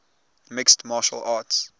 mixed martial arts